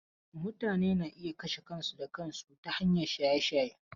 Mutane na iya kashe kansu da kansu ta hanyar shaye-shaye.